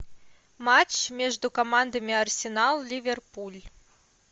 матч между командами арсенал ливерпуль